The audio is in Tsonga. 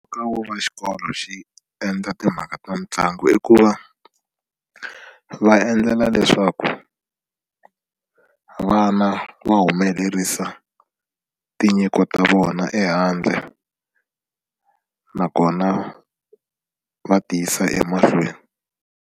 Nkoka wo va xikolo xi endla timhaka ta mitlangu i ku va va endlela leswaku vana va humelerisa tinyiko ta vona ehandle nakona va ti yisa emahlweni.